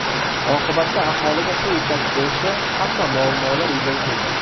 Oqibatda aholiga suv yetkazib berishda ham muammolar yuzaga kelgan.